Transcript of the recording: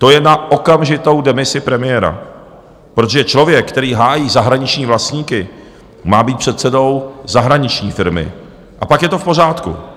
To je na okamžitou demisi premiéra, protože člověk, který hájí zahraniční vlastníky, má být předsedou zahraniční firmy a pak je to v pořádku.